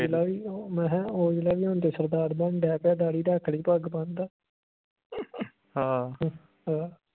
ਮੈਂ ਕਿਹਾ ਔਜਲਾ ਵੀ ਹੁਣ ਤੇ ਸਰਦਾਰ ਬਣਨ ਢੇ ਪਿਆ ਦਾੜ੍ਹੀ ਰੱਖ ਲਈ ਪੱਗ ਬੰਨਦਾ